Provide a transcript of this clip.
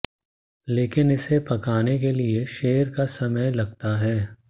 लेकिन इसे पकाने के लिए शेर का समय लगता है